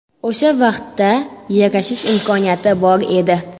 O‘sha vaqtda yarashish imkoniyati bor edi.